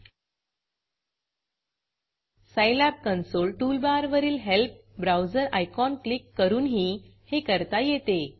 scilabसाईलॅब console टूलबारवरील helpहेल्प browser icon click करूनही हे करता येते